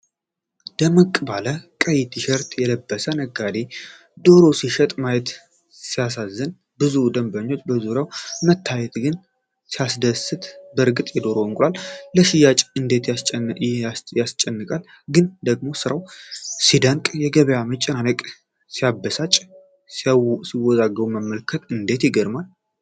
ደመቅ ባለ ቀይ ቲሸርት የለበሰ ነጋዴ ዶሮ ሲሸጥ ማየት ሲያሳዝን! ብዙ ደንበኞች በዙሪያው መታየቱ ግን ሲያስደስት! በእርግጥ የዶሮና የእንቁላል ሽያጭ እንዴት ያስጨንቃል! ግን ደግሞ ሥራው ሲደነቅ! የገበያው መጨናነቅ ሲያበሳጭ! ሲወዛገቡ መመልከት እንዴት ይገርማል!